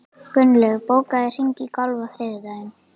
Gunnlaug, bókaðu hring í golf á þriðjudaginn.